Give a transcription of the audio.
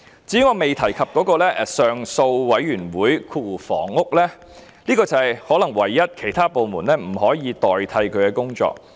至於我未提及的綱領 3， 即上訴委員會，這可能是唯一不能由其他部門代勞的工作。